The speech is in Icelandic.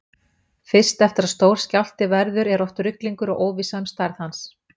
Fyrst eftir að stór skjálfti verður er oft ruglingur og óvissa um stærð hans.